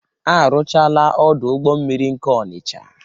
Arụchaala ọdụ ụgbọ mmiri nke Ọnicha.